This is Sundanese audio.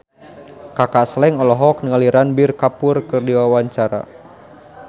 Kaka Slank olohok ningali Ranbir Kapoor keur diwawancara